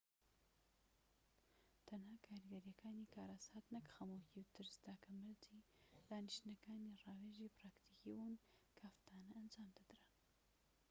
تەنها کاریگەریەکانی کارەسات نەك خەمۆکی و ترس تاکە مەرجی دانیشتنەکانی ڕاوێژی پراکتیکی بوون کە هەفتانە ئەنجامدەدران